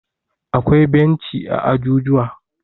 akwai benci a jujuwa